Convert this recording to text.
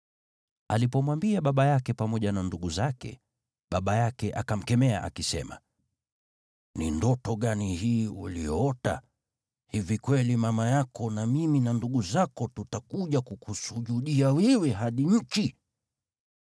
Alipomwambia baba yake pamoja na ndugu zake, baba yake akamkemea akisema, “Ni ndoto gani hii uliyoota? Hivi kweli mama yako na mimi na ndugu zako tutakuja kukusujudia wewe hadi nchi?”